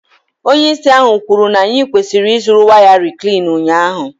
Onye isi ahụ kwuru na anyị kwesịrị ịzụrụ waya Reclean ụnyahụ.